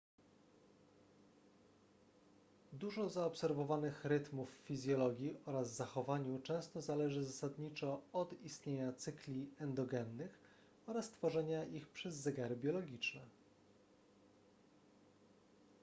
dużo zaobserwowanych rytmów w fizjologii oraz zachowaniu często zależy zasadniczo od istnienia cykli endogennych oraz tworzenia ich przez zegary biologiczne